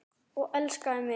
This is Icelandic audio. Og elskaði mig.